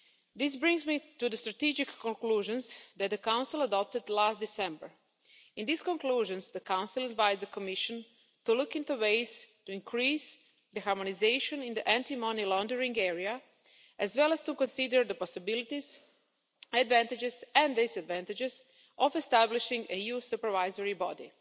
This brings me to the strategic conclusions that the Council adopted last December. In these conclusions, the Council advised the Commission to look into ways to increase harmonisation in the anti money laundering area, as well as to consider the possibilities, advantages and disadvantages of establishing an EU supervisory body.